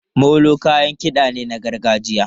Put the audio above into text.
Molo kayan kiɗa ne na gargajiya.